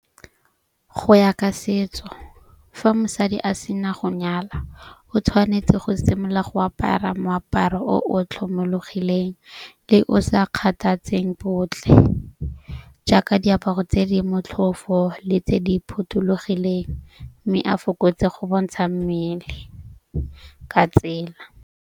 Go ya ka setso fa mosadi a sena go nyala o tshwanetse go simolola go apara moaparo o o tlhomologileng le o sa kgathatseng botlhe. Jaaka diaparo tse di motlhofo le tse di phothulogileng. Mme a fokotse go bontsha mmele ka tsela.